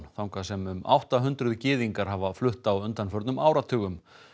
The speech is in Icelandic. þangað sem um átta hundruð gyðingar hafa flutt á undanförnum áratugum